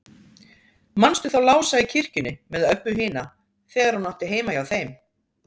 Manstu þá Lása í kirkjunni með Öbbu hina, þegar hún átti heima hjá þeim?